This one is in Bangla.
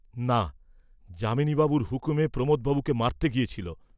না, যামিনীবাবুর হুকুমে প্রমোদবাবুকে মারতে গিয়েছিল।